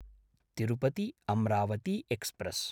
तिरुपति–अम्रावती express